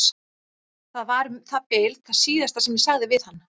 Það var um það bil það síðasta sem ég sagði við hann.